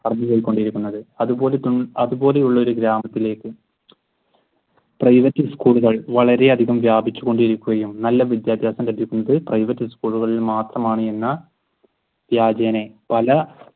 അതുപോലെയുള്ള ഒരു ഗ്രാമത്തിലേക്ക് private school കൾ വളരെയധികം വ്യാപിച്ചുകൊണ്ടിരിക്കുകയും നല്ല വിദ്യാഭ്യാസം ലഭിക്കുന്നത് private schol കളിൽ മാത്രമാണെന്ന വ്യാചേന പല